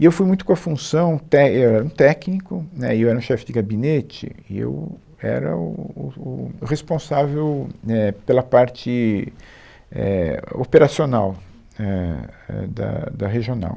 E eu fui muito com a função té, é, eu era um técnico, né, e eu era um chefe de gabinete, e eu era o, o o responsável né, pela parte, é, operacional, é, é, da, da regional.